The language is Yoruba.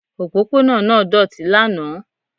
Òpópónà náà doti lánàá